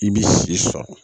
I b'i si sɔrɔ